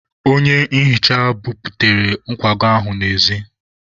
Onye nhicha buputere nkwago ahụ n'ezi.